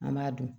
An b'a dun